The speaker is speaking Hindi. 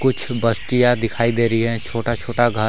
कुछ बस्तीयाँ दिखाई दे रही है छोटा छोटा घर--